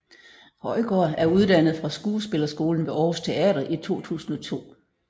Højgaard er uddannet fra skuespillerskolen ved Aarhus Teater i 2002